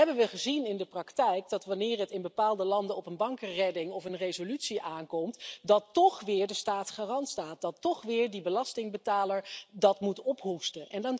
Nu hebben we gezien in de praktijk dat wanneer het in bepaalde landen op een bankenredding of een resolutie aankomt, toch weer de staat garant staat, toch weer de belastingbetaler dat moet ophoesten.